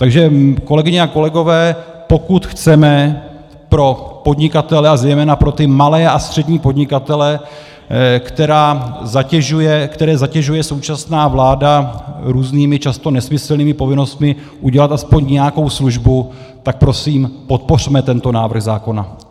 Takže kolegyně a kolegové, pokud chceme pro podnikatele, a zejména pro ty malé a střední podnikatele, které zatěžuje současná vláda různými, často nesmyslnými povinnostmi, udělat aspoň nějakou službu, tak prosím, podpořme tento návrh zákona.